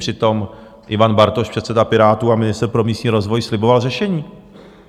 Přitom Ivan Bartoš, předseda Pirátů a ministr pro místní rozvoj, sliboval řešení.